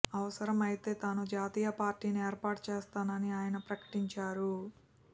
అవసరమైతే తాను జాతీయ పార్టీని ఏర్పాటు చేస్తానని ఆయన ప్రకటించారు